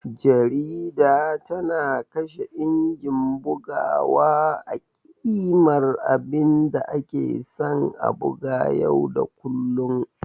Jarida tana kashe injin bugawa a ƙimar abinda ake san a buga yau da kullun.